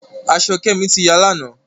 Aṣọ Kemi tí yá lànà.